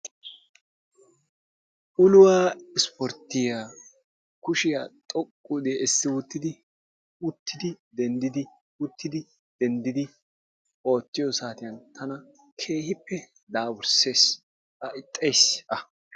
Ulluwaa ispportyiya kushshiya xoqqu uddi essi uttidi uttidi denddiidi uttidi denddiidi oottiyo saatiyan tana keehippe daapursses a ixxayis a.